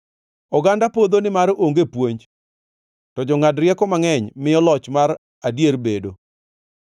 Oganda podho nimar onge puonj, to jongʼad rieko mangʼeny miyo loch mar adier bedo.